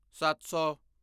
ਸੱਤ ਸੌ